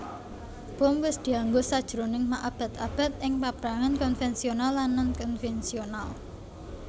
Bom wis dianggo sajroning maabad abad ing paprangan konvensional lan non konvensional